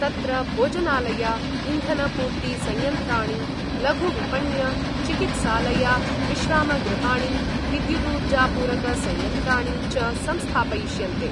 तत्र भोजनालया इन्धनपूर्तिसंयन्त्राणि लघुविपण्य चिकित्सालया विश्रामगृहाणि विद्युदूर्जापूरकसंयन्त्राणि च संस्थापयिष्यन्ते।